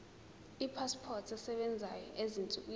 ipasipoti esebenzayo ezinsukwini